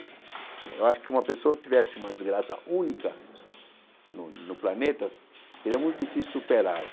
Eu acho que uma pessoa tivesse uma desgraça única no no planeta, seria muito difícil superá-la.